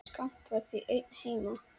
Skapti var því einn heima.